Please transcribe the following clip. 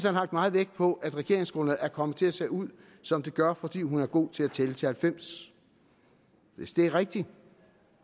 har lagt meget vægt på at regeringsgrundlaget er kommet til at se ud som det gør fordi hun er god til at tælle til halvfems hvis det er rigtigt